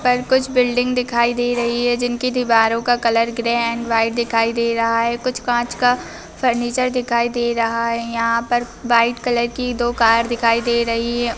पर कुछ बिल्डिंग दिखाई दे रही हैं जिनकी दीवारों का कलर ग्रे एंड वाइट दिखाई दे रहा है | कुछ काँच का फर्नीचर दिखाई दे रहा है | यहाँ पर वाइट कलर की दो कार दिखाई दे रही है।